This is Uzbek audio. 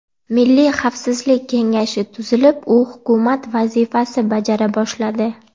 Milliy xavfsizlik kengashi tuzilib, u hukumat vazifasi bajara boshladi.